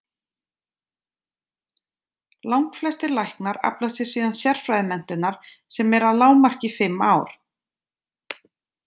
Langflestir læknar afla sér síðan sérfræðimenntunar sem er að lágmarki fimm ár.